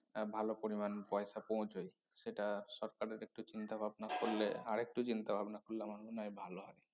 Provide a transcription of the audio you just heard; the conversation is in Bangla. আহ ভালো পরিমান পয়সা পৌছয় সেটা সরকারের একটু চিন্তাভাবনা করলে আরেকটু চিন্তাভাবনা করলে আমার মনে হয় ভালো হয়